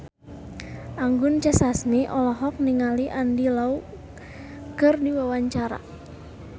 Anggun C. Sasmi olohok ningali Andy Lau keur diwawancara